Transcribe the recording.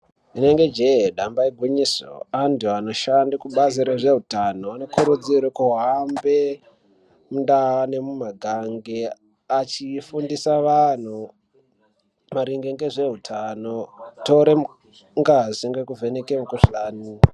Rinenge jee damba igwinyiso. Antu anoshanda kubazi rezveutano anokurudzirwa kuhambe mundaa nemumakange achifundisa vantu maringe ngezveutano. Kutora ngazi nekuvheneka mukhuhlani.